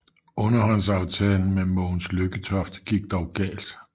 Underhåndsaftalen med Mogens Lykketoft gik dog galt